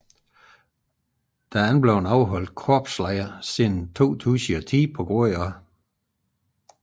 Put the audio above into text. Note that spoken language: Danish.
Der er ikke blevet afholdt korpslejr siden 2010 pga